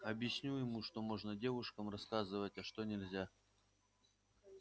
объясню ему что можно девушкам рассказывать а что нельзя